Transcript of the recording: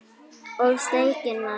Og steikin maður.